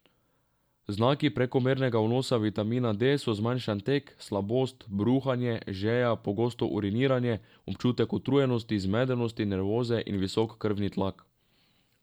Znaki prekomernega vnosa vitamina D so zmanjšan tek, slabost, bruhanje, žeja, pogosto uriniranje, občutek utrujenosti, zmedenosti, nervoze in visok krvni tlak.